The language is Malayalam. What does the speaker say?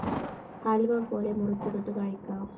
ഹൽവ പോലെ മുറിച്ചെടുത്ത് കഴിക്കാം.